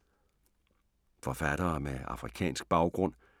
Forfattere med afrikansk baggrund